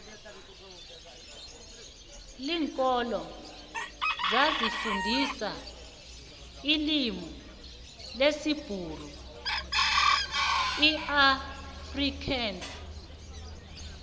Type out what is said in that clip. linkolo zazi fundisa ilimu lesibhuru iafrikansi